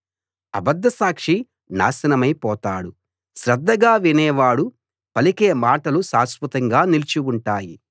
అబద్ధసాక్షి నాశనమై పోతాడు శ్రద్ధగా వినేవాడు పలికే మాటలు శాశ్వతంగా నిలిచి ఉంటాయి